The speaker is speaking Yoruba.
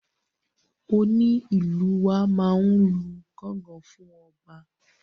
Onílù wa máa n lu gángan fún ọba.